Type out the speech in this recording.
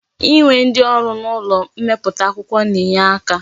Inwe ndi oru n'ulo mmeputa akwukwo na-enye aka.